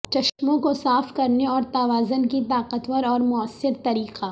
چشموں کو صاف کرنے اور توازن کی طاقتور اور موثر طریقہ